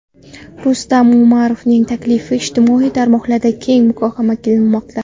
Rustam Umarovning taklifi ijtimoiy tarmoqlarda keng muhokama qilinmoqda.